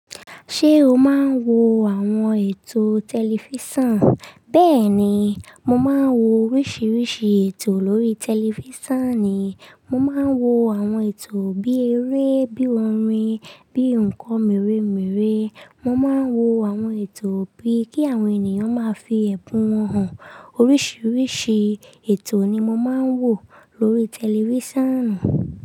Ṣé o máa ń wo àwọn ètò tẹlifísàn? Bẹ́ẹ̀ ni, mo máa ń wo oríṣiríṣi ètò lórí tẹlifísàn ni. Mo máa ń wo àwọn ètò bí eré, bí orin, bí nǹkan merè merè. Mo máa ń wo àwọn ètò bí kí àwọn ènìyàn máa fi ẹ̀bùn wọn hàn. Oríṣiríṣi ètò ni mo máa ń wo lórí tẹlifísàn.